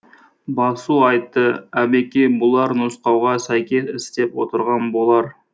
басу айтты әбеке бұлар нұсқауға сәйкес істеп отырған болар